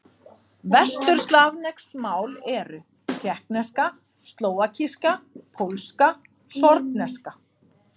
Vesturslavnesk mál eru: tékkneska, slóvakíska, pólska, sorbneska.